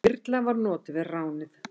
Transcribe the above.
Þyrla var notuð við ránið.